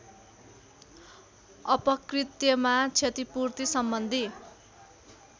अपकृत्यमा क्षतिपूर्ति सम्बन्धी